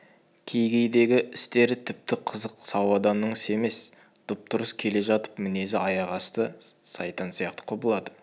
кей-кейдегі істері тіпті қызық сау адамның ісі емес дұп-дұрыс келе жатып мінезі аяқ асты сайтан сияқты құбылады